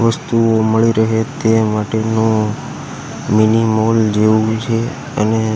વસ્તુઓ મળી રહે તે માટેનુ મીની મોલ જેવુ છે અને--